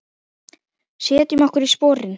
Setjum okkur í sporin.